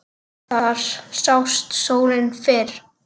Þar sást sólin fyrr.